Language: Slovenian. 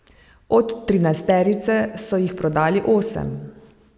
Od trinajsterice so jih prodali osem.